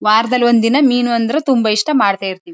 ವಾರದಲ್ಲಿ ಒಂದ್ ದಿನ ಮೀನ್ ಅಂದ್ರೆ ತುಂಬಾ ಇಷ್ಟ ಮಾಡ್ತಾ ಇರ್ತೀವಿ.